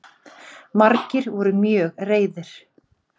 Margir voru mjög reiðir